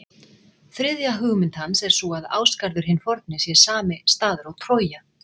Þriðja hugmynd hans er sú að Ásgarður hinn forni sé sami staður og Trója.